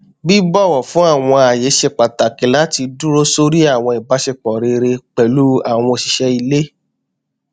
bíbọwọ fún àwọn ààyè ṣe pàtàkì láti dúró sóri àwọn ìbáṣepọ rere pẹlú àwọn òṣìṣẹ ilé